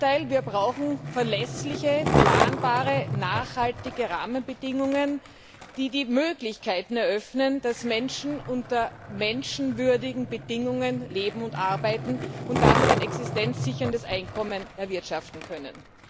Ganz im Gegenteil Wir brauchen verlässliche, planbare, nachhaltige Rahmenbedingungen, die die Möglichkeiten eröffnen, dass Menschen unter menschenwürdigen Bedingungen leben und arbeiten und damit ein existenzsicherndes Einkommen erwirtschaften können.